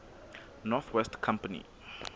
north west company